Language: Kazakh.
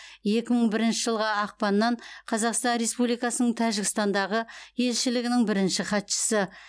екі мың бірінші жылғы ақпаннан қазақстан республикасының тәжікстандағы елшілігінің бірінші хатшысы